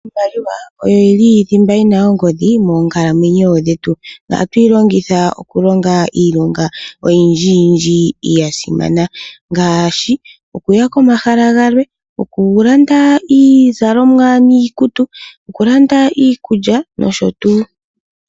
Iimaliwa oyo thimba yi na ongodhi moonkalamwenyo dhetu. Ohatu yi longitha okulonga iilonga oyindji yindji ya simana ngaashi: okuya komahala galwe, okulanda iizalomwa niikutu, okulanda iikulya nosho tuu.